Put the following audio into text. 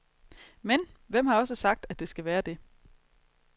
Men, hvem har også sagt, at det skal være det.